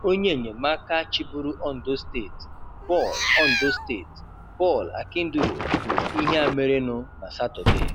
Onye ènyèmaka áká chịbụ́rụ́ Ondo Steeti, Paul Ondo Steeti, Paul Akinduro, kwùrù íhé à mérénụ nà Sátọdee.